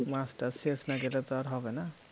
মাস টাস শেষ না গেলে তো আর হবে না